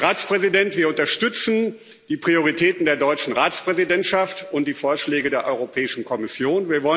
Herr Ratspräsident, wir unterstützen die Prioritäten der deutschen Ratspräsidentschaft und die Vorschläge der Europäischen Kommission.